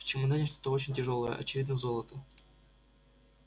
в чемодане что очень тяжёлое очевидно золото